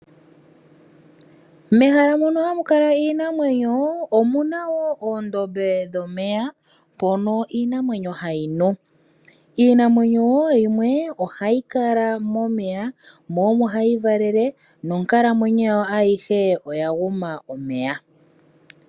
Mehala mono hamu kala iinamwenyo omuna wo oondombe dhomeya mpono iinamwenyo hayi nu. Iinamwenyo wo yimwe ohayi kala momeya mo omo hayi valele, nonkalamwenyo yawo ayihe oya guma omeya.